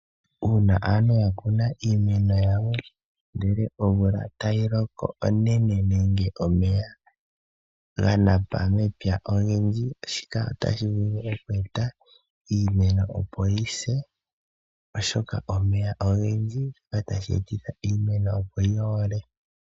Uuna aantu ya kuna iimeno yawo ndele omvula tayi loko onene nenge omeya ga napa mepya ogendji, shika otashi vulu okweeta iimeno opo yise oshoka omeya ogendji otashi etitha iimeno opo yo ole.